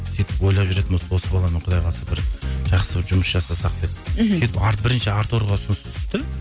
сөйтіп ойлап жүретінмін осы баламен құдай қаласа бір жақсы бір жұмыс жасасақ деп мхм сөйтіп бірінші артурға ұсыныс түсті